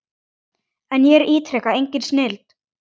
En ég ítreka, engin snilld.